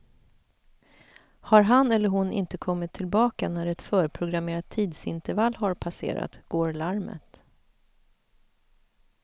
Har han eller hon inte kommit tillbaka när ett förprogrammerat tidsintervall har passerat går larmet.